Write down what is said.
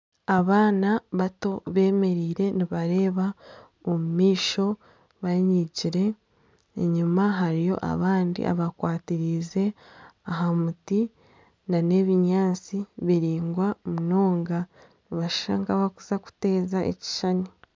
Abaana bato bemereire nibareeba omumaisho banyigyire enyima hariyo abandi abakwatirize aha muti n'ebinyaatsi biraingwa munonga nibashusha nka abakuza kuteeza ekishushani.